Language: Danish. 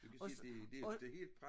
Du kan se det det det helt brat